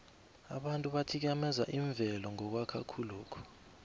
abantu bathikameza imvelo ngokwakha khulokhu